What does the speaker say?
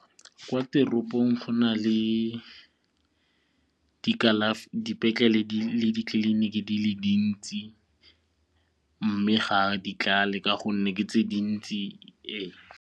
Kwa teropong go na le dipetlele le ditleliniki di le dintsi mme ga di tlale ka gonne ke tse dintsi .